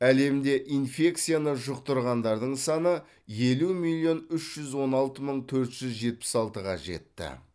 әлемде инфекцияны жұқтырғандардың саны елу миллион үш жүз он алты мың төрт жүз жетпіс алтыға жетті